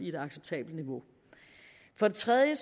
et acceptabelt niveau for det tredje